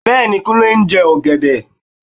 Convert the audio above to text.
Bẹ́ẹ̀ni, Kúnlé ń jẹ ọ̀gẹ̀dẹ